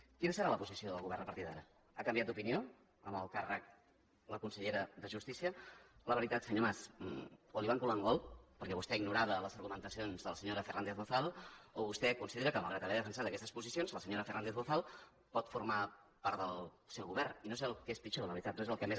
quina serà la posició del govern a partir d’ara ha canviat d’opinió amb el càrrec la consellera de justícia la veritat senyor mas o li van colar un gol perquè vostè ignorava les argumentacions de la senyora fernández bozal o vostè considera que malgrat haver defensat aquestes posicions la senyora fernández bozal pot formar part del seu govern i no sé el que és pitjor la veritat no és el que més